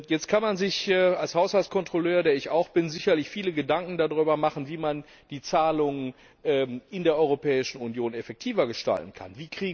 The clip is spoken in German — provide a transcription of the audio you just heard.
Jetzt kann man sich als Haushaltskontrolleur der ich auch bin sicherlich viele Gedanken darüber machen, wie man die Zahlungen in der Europäischen Union effektiver gestalten kann.